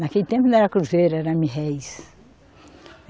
Naquele tempo não era cruzeiro, era mil réis